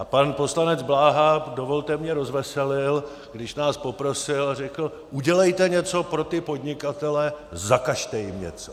A pan poslanec Bláha, dovolte, mě rozveselil, když nás poprosil a řekl: udělejte něco pro ty podnikatele, zakažte jim něco.